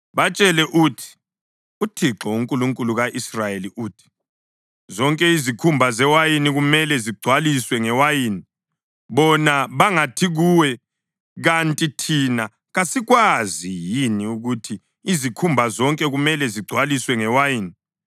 “Batshele uthi, ‘ UThixo, uNkulunkulu ka-Israyeli uthi, zonke izikhumba zewayini kumele zigcwaliswe ngewayini.’ Bona bangathi kuwe, ‘Kanti thina kasikwazi yini ukuthi izikhumba zonke kumele zigcwaliswe ngewayini?’